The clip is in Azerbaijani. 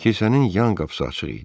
Kilsənin yan qapısı açıq idi.